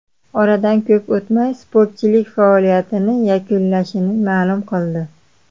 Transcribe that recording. Oradan ko‘p o‘tmay sportchilik faoliyatini yakunlashini ma’lum qildi.